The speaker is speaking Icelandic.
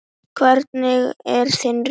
Hvernig er þinn riðill?